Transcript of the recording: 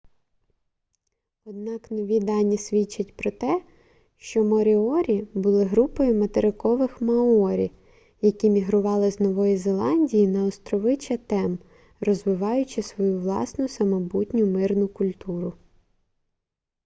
однак нові дані свідчать про те що моріорі були групою материкових маорі які мігрували з нової зеландії на острови чатем розвиваючи свою власну самобутню мирну культуру